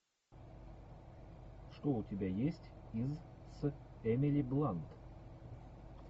что у тебя есть из с эмили блант